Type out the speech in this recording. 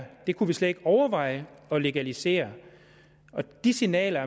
det kunne vi slet ikke overveje at legalisere de signaler